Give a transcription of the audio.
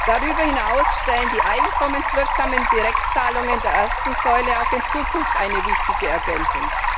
Darüber hinaus stellen die einkommenswirksamen Direktzahlungen der ersten Säule auch in Zukunft eine wichtige Ergänzung.